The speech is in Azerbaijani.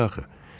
Niyə axı?